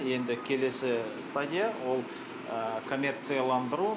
енді келесі стадия ол комерцияландыру